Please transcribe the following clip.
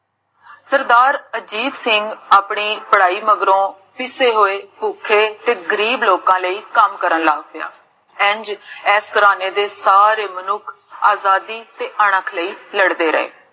ਸਰਦਾਰ ਅਜੀਤ ਸਿੰਘ ਆਪਣੀ ਪੜ੍ਹਾਈ ਮਗਰੋਂ, ਪਿਸੇ ਹੋਏ ਪੁਖੇ ਤੇ ਗਰੀਬ ਲੋਕਾਂ ਲਈ ਕਾਮ ਕਰਨ ਲਗ ਪਿਆ ਇੰਜ ਇਸ ਤਰਹ ਦੇ ਸਾਰੇ ਮਨੁਖ ਆਜ਼ਾਦੀ ਤੇ ਅਣਖ ਲਈ ਲੜਦੇ ਰਹੇ